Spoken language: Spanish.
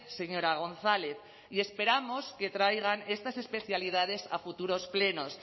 señora gonzález y esperamos que traigan estas especialidades a futuros plenos